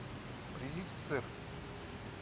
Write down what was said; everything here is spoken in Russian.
привезите сыр